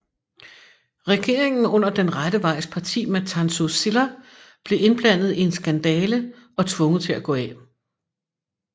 Regeringen under Den Rette Vejs Parti med Tansu Çiller blev indblandet i en skandale og tvunget til at gå af